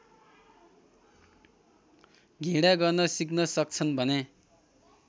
घृणा गर्न सिक्न सक्छन् भने